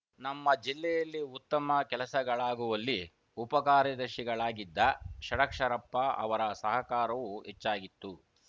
ನಮ್ಮ ಜಿಲ್ಲೆಯಲ್ಲಿ ಉತ್ತಮ ಕೆಲಸಗಳಾಗುವಲ್ಲಿ ಉಪ ಕಾರ್ಯದರ್ಶಿಗಳಾಗಿದ್ದ ಷಡಕ್ಷರಪ್ಪ ಅವರ ಸಹಕಾರವೂ ಹೆಚ್ಚಾಗಿತ್ತು